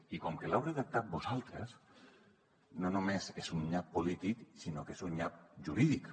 i com que l’heu redactat vosaltres no només és un nyap polític sinó que és un nyap jurídic